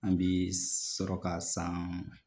An bi sɔrɔ ka san